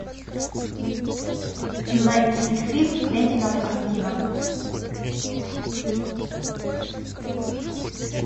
найти фильм квентина тарантино